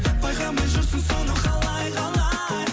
байқамай жүрсің соны қалай қалай